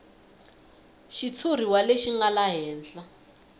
xitshuriwa lexi nga laha henhla